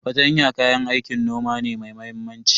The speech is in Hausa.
Fartanya kayan aikin noma ne mai muhimmanci.